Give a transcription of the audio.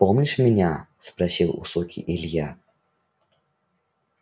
помнишь меня спросил у суки илья